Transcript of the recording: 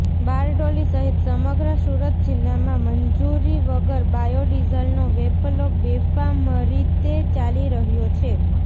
બારડોલી સહિત સમગ્ર સુરત જિલ્લામાં મંજૂરી વગર બાયોડિઝલનો વેપલો બેફામરીતે ચાલી રહ્યો છે